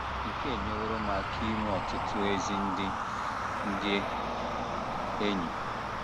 Nke a enyeworo m aka inwe ọtụtụ ezi ndị ndị enyi. ”